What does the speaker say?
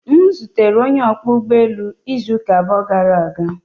M zutere onye ọkwọ ụgbọelu izu abụọ gara aga